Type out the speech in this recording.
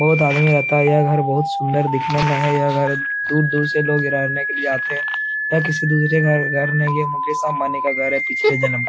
बहुत आदमी आता है यह घर बहुत सुन्दर दिखने मे है यह घर दूर दूर से लोग रहने के लिए आते हैं | यह किसी दूसरे का घर नहीं है मुकेश अम्बानी का घर है पिछले जन्म --